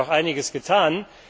Es hat sich auch einiges getan.